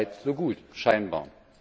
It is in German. So weit, so gut scheinbar.